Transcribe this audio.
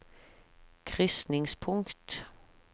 krysningspunkt